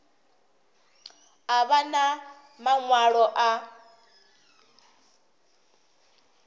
a vha na maṅwalo a